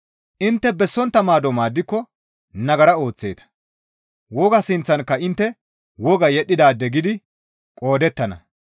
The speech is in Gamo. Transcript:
Intte bessontta maado maaddiko nagara ooththeeta; wogaa sinththankka intte woga yedhdhidaade gidi qoodettana.